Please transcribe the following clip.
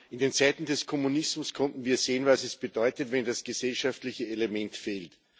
In den Zeiten des Kommunismus konnten wir sehen, was es bedeutet, wenn das gesellschaftliche Element fehlt.